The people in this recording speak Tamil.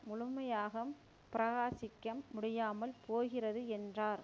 முழுமையாக பிரகாசிக்க முடியாமல் போகிறது என்றார்